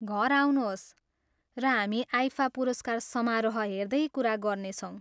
घर आउनुहोस् र हामी आइफा पुरस्कार समारोह हेर्दै कुरा गर्नेछौँ।